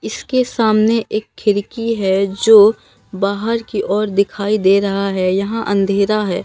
इसके सामने एक खिड़की है जो बाहर की ओर दिखाई दे रहा है यहां अंधेरा है।